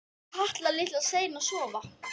Var Kata litla sein að sofna?